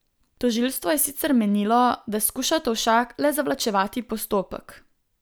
Tožilstvo je sicer menilo, da skuša Tovšak le zavlačevati postopek.